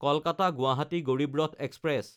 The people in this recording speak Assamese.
কলকাতা–গুৱাহাটী গড়ীব ৰথ এক্সপ্ৰেছ